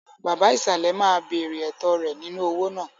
Baba ìsàlẹ̀ máa béèrè ẹ̀tọ́ rẹ̀ nínú owó náà.